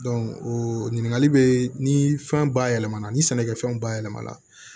o ɲininkali bɛ ni fɛn bayɛlɛma ni sɛnɛkɛfɛnw bayɛlɛma na